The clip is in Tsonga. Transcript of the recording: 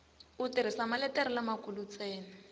u tirhisa maletere lamakulu ntsena